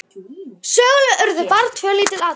Eins gott að enginn varð þess var!